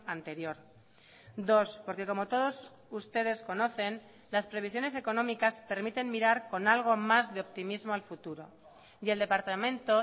anterior dos porque como todos ustedes conocen las previsiones económicas permiten mirar con algo más de optimismo al futuro y el departamento